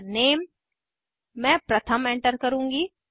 Enter Name मैं प्रथम enter करुँगी